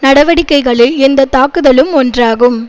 நடவடிக்கைகளில் இந்த தாக்குதலும் ஒன்றாகும்